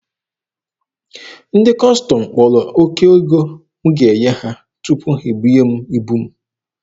Ndị Kọstọm kpọrọ oke ego m ga-enye ha tupu ha ebunye m ibu m.